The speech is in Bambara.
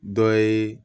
Dɔ ye